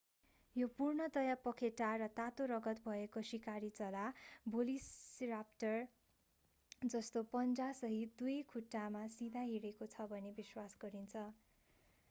यो पूर्णतया पखेटा र तातो रगत भएको शिकारी चरा भेलोसिराप्टर जस्तै पञ्जासहित दुई खुट्टामा सिधा हिँडेको छ भन्ने विश्वास गरिन्छ